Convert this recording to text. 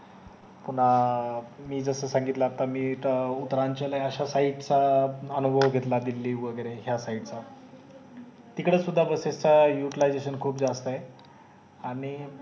पुन्हा अं मी जस सांगितल आता मी उत्तरांचल आहे अश्या side चा अनुभव घेतला दिल्ली वगरे ह्या side चा तिकडे सुद्धा बसचा utilization खूप जास्त आहे आणि